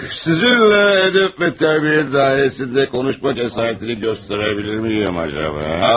Sizinlə ədəb və tərbiyə dairəsində konuşmaq cəsarətini göstərə bilirmiyim acaba?